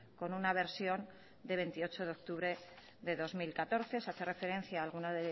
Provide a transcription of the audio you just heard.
con una versión de veintiocho de octubre de dos mil catorce se hace referencia a alguna